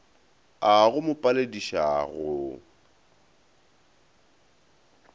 a go mo palediša go